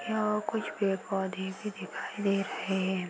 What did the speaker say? यह कुछ पेड़ पौधे भी दिखाई दे रहे हैं।